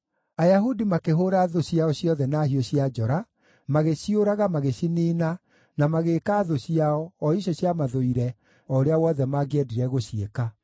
Ayahudi makĩhũũra thũ ciao ciothe na hiũ cia njora, magĩciũraga magĩciniina, na magĩĩka thũ ciao, o icio ciamathũire, o ũrĩa wothe mangĩendire gũciĩka.